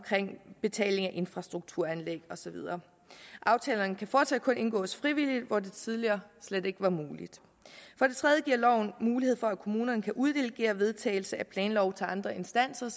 betaling af infrastrukturanlæg og så videre aftalerne kan fortsat kun indgås frivilligt tidligere var slet ikke muligt for det tredje giver loven mulighed for at kommunerne kan uddelegere vedtagelse af planlov til andre instanser